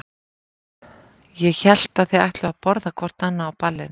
Ég hélt að þið ætluðuð að borða hvort annað á ballinu.